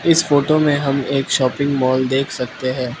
इस फोटो में हम एक शॉपिंग मॉल देख सकते है।